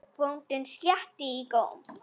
Bóndinn sletti í góm.